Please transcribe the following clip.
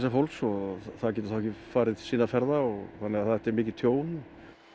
fólks svo það geti farið sinna ferða þannig að þetta er mikið tjón